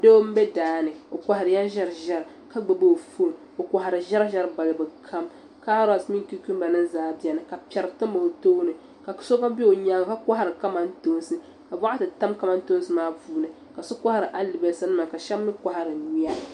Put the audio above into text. Doo m-be daa ni o kɔhirila ʒiɛriʒiɛri ka gbubi o foon o kɔhiri ʒiɛriʒiɛri balibu kam kaarosi mini kukumbanima zaa beni ka piɛri tam o tooni ka so gba be o nyaaŋa ka kɔhiri kamantoonsi ka bokati tam kamantoonsi maa puuni ka so kɔhiri alibalisanima ka shɛba mi kɔhiri nyuya.